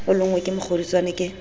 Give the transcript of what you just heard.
o lonngwe ke mokgodutswane ke